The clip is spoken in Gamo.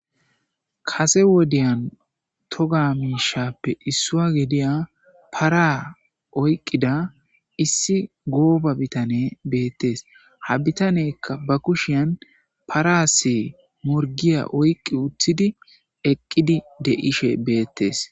Kase wodiyan toga mishappe isuwa gidiya para oyqida issi gooba bitaney betes. Ha bitaneyka ba kushiyan Paras morgiya oyqi utidi eqid de'ishe betes.